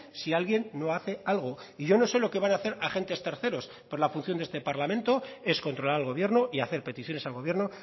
si alguien no hace algo y yo no sé lo que van hacer agentes terceros pero la función de este parlamento es controlar al gobierno y hacer peticiones al gobierno